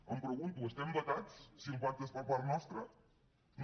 em pregunto estem vetats si el pacte és per part nostra no